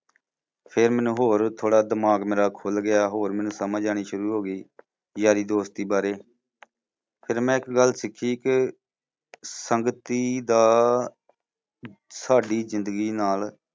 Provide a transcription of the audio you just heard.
ਫੇਰ ਮੈਨੂੰ ਹੋਰ ਥੋੜਾ ਦਿਮਾਗ ਮੇਰਾ ਖੁੱਲ ਗਿਆ ਹੋਰ ਮੈਨੂੰ ਸਮਝ ਆਉਣੀ ਸ਼ੁਰੂ ਹੋ ਗਈ ਯਾਰੀ ਦੋਸਤੀ ਬਾਰੇ ਫਿਰ ਮੈਂ ਇੱਕ ਗੱਲ ਸਿੱਖੀ ਕਿ ਸੰਗਤੀ ਦਾ ਸਾਡੀ ਜ਼ਿੰਦਗੀ ਨਾਲ